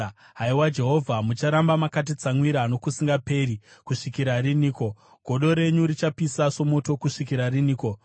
Haiwa Jehovha, mucharamba makatitsamwira nokusingaperi kusvikira riniko? Godo renyu richapisa somoto kusvikira riniko?